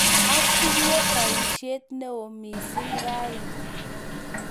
Atinye boisyet neoo mising' ra ini.